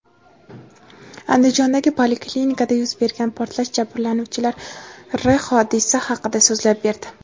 Andijondagi poliklinikada yuz bergan portlash jabrlanuvchilari hodisa haqida so‘zlab berdi.